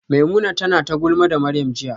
Maimuna tana ta gulma da Maryam jiya